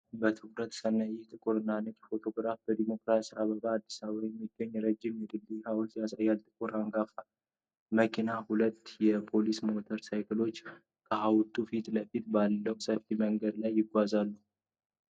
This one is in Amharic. በትኩረት ስናይ፣ ይህ ጥቁር እና ነጭ ፎቶግራፍ በዲሞክራሲ አደባባይ (አዲስ አበባ) የሚገኘውን ረጅም የድል ሐውልት ያሳያል። ጥቁር አንጋፋ መኪና እና ሁለት የፖሊስ ሞተር ሳይክሎች ከሐውልቱ ፊት ለፊት ባለው ሰፊ መንገድ ላይ ይጓዛሉ።